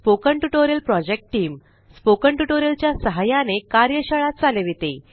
spoken tutorial project team spoken tutorial च्या सहाय्याने कार्यशाळा चालविते